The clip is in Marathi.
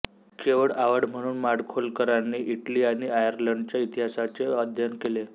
केवळ आवड म्हणून माडखोलकरांनी इटली आणि आयर्लंडच्या इतिहासांचे अध्ययन केले